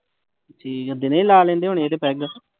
ਠੀਕ ਹੈ ਦਿਨੇ ਹੀ ਲਾ ਲੈਂਦੇ ਹੋਣੇ ਤੇ ਪੇਗ।